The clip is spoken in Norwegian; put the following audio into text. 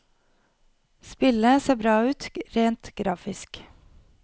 Spillet ser bra ut rent grafisk.